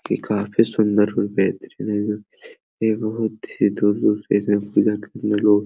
की काफी सुन्दर और बेहतरीन । ये बहोत ।